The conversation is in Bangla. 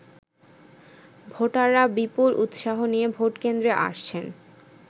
ভোটাররা বিপুল উৎসাহ নিয়ে ভোটকেন্দ্রে আসছেন।